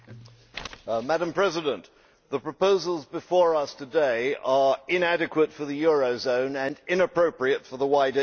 Madam President, the proposals before us today are inadequate for the eurozone and inappropriate for the wider EU.